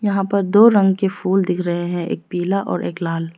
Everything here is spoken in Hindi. यहां पर दो रंग के फूल दिख रहे हैं एक पीला और एक लाल।